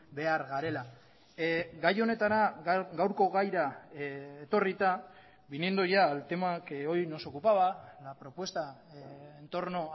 behar garela gai honetara gaurko gaira etorrita viniendo ya al tema que hoy nos ocupaba la propuesta entorno